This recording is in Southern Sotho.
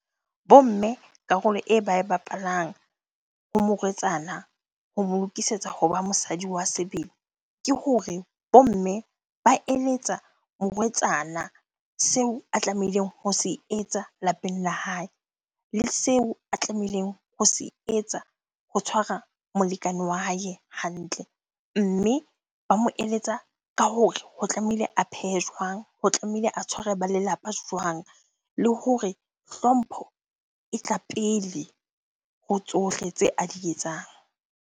Bo mme karolo e ba e bapalang ho morwetsana, ho mo lokisetsa hoba mosadi wa sebele. Ke hore bo mme ba eletsa morwetsana seo a tlamehileng ho se etsa lapeng la hae, le seo a tlamehileng ho se etsa bo tshwara molekane wa hae hantle. Mme ba mo eletsa ka hore ho tlamehile a phehe jwang? Ho tlamehile a tshware ba lelapa jwang? Le hore hlompho e tla pele ho tsohle tse a di etsang.